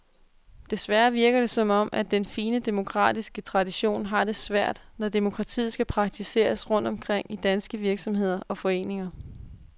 Desværre virker det som om, at den fine demokratiske tradition har det svært, når demokratiet skal praktiseres rundt omkring i danske virksomheder og foreninger.